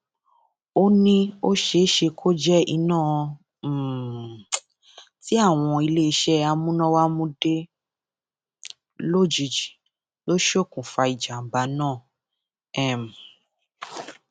ó ní ó ṣeé ṣe kó jẹ iná um tí àwọn iléeṣẹ amúnáwá mú dé lójijì ló ṣokùnfà ìjàǹbá náà um